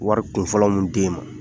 Wari kunfɔlɔ mun de ma